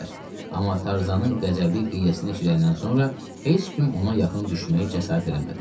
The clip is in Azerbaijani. Amma Tarzanın qəzəbli qışqırığını eşidəndən sonra heç kim ona yaxın düşməyə cəsarət eləmədi.